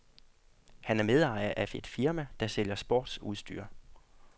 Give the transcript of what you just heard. Han er medejer af et firma, der sælger sportsudstyr.